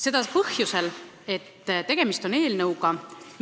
Seda põhjusel, et tegemist on eelnõuga,